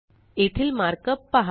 येथील मार्कअप पहा